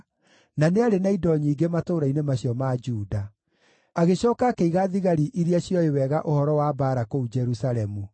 na nĩarĩ na indo nyingĩ matũũra-inĩ macio ma Juda. Agĩcooka akĩiga thigari iria ciooĩ wega ũhoro wa mbaara kũu Jerusalemu.